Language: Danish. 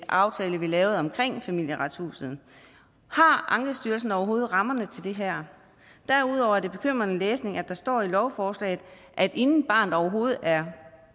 aftale vi lavede omkring familieretshuset har ankestyrelsen overhovedet rammerne til det her derudover er det bekymrende læsning at der står i lovforslaget at inden barnet overhovedet er